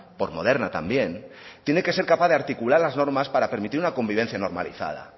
por moderna también tiene que ser capaz de articular las normas para permitir una convivencia normalizada